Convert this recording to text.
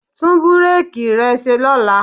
Tún búréèkì rẹ ṣe lọ́la.